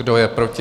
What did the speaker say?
Kdo je proti?